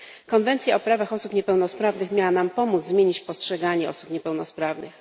Konwencja o prawach osób niepełnosprawnych miała nam pomóc zmienić postrzeganie osób niepełnosprawnych.